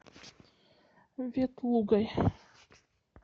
ветлугой